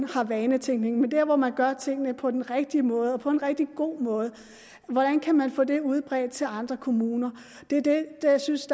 har vanetænkning men dér hvor man gør tingene på den rigtige måde og på en rigtig god måde hvordan kan man få det udbredt til andre kommuner det er det jeg synes